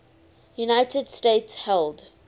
united states held